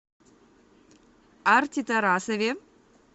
арти тарасове